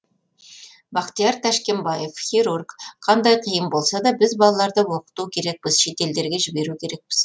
бахтияр тәшкенбаев хирург қандай қиын болса да біз балаларды оқыту керекпіз шетелдерге жіберу керекпіз